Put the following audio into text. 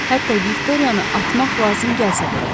Hətta Viktoriyanı atmaq lazım gəlsə belə.